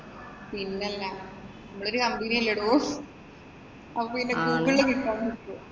പിന്നല്ലാത്. നമ്മടെ ഒരു company അല്ലേടോ. അപ്പൊ പിന്നെ ഗൂഗിളില്‍ കിട്ടാണ്ടിരിക്കുവോ?